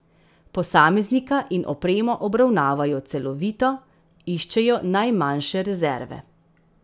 Posameznika in opremo obravnavajo celovito, iščejo najmanjše rezerve.